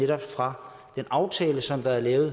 fra den aftale som er lavet